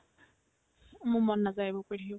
মোৰ মন নাযায় এইবোৰ কৰি থাকিব